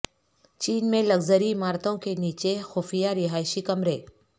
چین میں لگژری عمارتوں کے نیچے خفیہ رہائشی کمرے